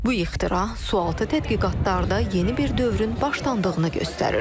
Bu ixtira sualtı tədqiqatlarda yeni bir dövrün başlandığını göstərir.